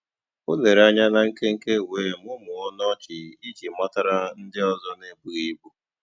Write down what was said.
O lèrè ànyá na nkénkè wéé mụ́mụ́ọ́ ọnụ́ ọ́chị́ ijì matàra ndí ọ́zọ́ n'èbùghị́ ìbù.